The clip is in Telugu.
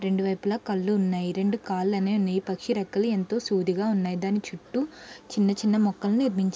రెండు వైపుల కళ్ళు ఉన్నాయి. రెండు కాళ్ళు అనేవి ఉన్నాయి.ఈ పక్షి రెక్కలు ఎంతో సూదిగా ఉన్నాయి. దాని చుట్టూ చిన్న చిన్న మొక్కలు నిర్మించ--